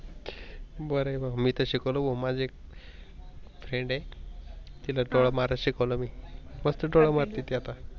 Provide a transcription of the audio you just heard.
बर बा मी तर शिकवलं माझ एक फ्रेंड आहे डोळा मारच शिकवलं मी मस्त डोळा मारते ती आता.